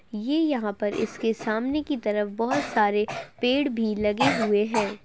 ये यहाँ पर इसके सामने की तरफ बहोत सारे पेड़ भी लगें हुए हैं।